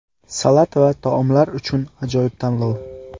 Salat va taomlar uchun ajoyib tanlov.